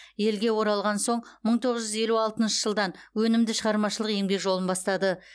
елге оралған соң мың тоғыз жүз елу алтыншы жылдан өнімді шығармашылық еңбек жолын бастады